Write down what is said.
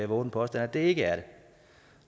vove den påstand at det ikke er det